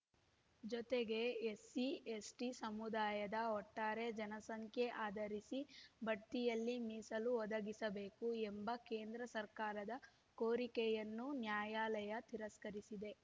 ಜೊತೆಗೆ ಎಸ್‌ಸಿಎಸ್‌ಟಿ ಸಮುದಾಯದ ಒಟ್ಟಾರೆ ಜನಸಂಖ್ಯೆ ಆಧರಿಸಿ ಬಡ್ತಿಯಲ್ಲಿ ಮೀಸಲು ಒದಗಿಸಬೇಕು ಎಂಬ ಕೇಂದ್ರ ಸರ್ಕಾರದ ಕೋರಿಕೆಯನ್ನೂ ನ್ಯಾಯಾಲಯ ತಿರಸ್ಕರಿಸಿದೆ